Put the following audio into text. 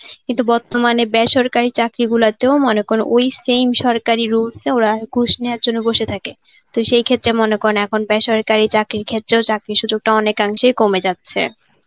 কিন্তু বর্তমানে বেসরকারি চাকরি গুলাতেও মনে কর ওই same সরকারি rules এ ওরা ঘুষ নেওয়ার জন্য বসে থাকে তো সেই ক্ষেত্রে মনে করুন এখন বেসরকারি চাকরির ক্ষেত্রেও চাকরির সুযোগটা অনেকাংশেই কমে যাচ্ছে.